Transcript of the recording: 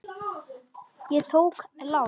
Ég tók lán.